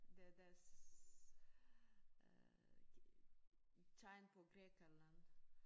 Det deres øh tegn på Grækenland